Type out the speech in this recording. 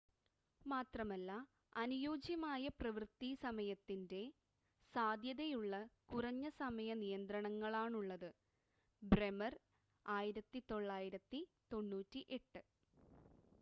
മാത്രമല്ല അനുയോജ്യമായ പ്രവൃത്തി സമയത്തിന്റെ സാധ്യതയുള്ള കുറഞ്ഞ സമയ നിയന്ത്രണങ്ങളാണുള്ളത്. ബ്രെമർ 1998